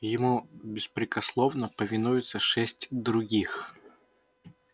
ему беспрекословно повинуются шесть других